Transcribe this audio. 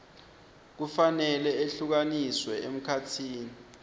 kufanele ehlukaniswe emkhatsini